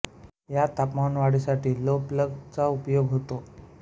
या तापमान वाढीसाठी ग्लो प्लग चा उपयोग होतो